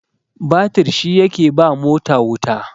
batir shi yake ba mota wuta